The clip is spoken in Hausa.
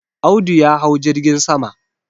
Audu ya hau jirgin sama.